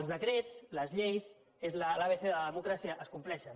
els decrets les lleis és l’abecé de la democràcia es compleixen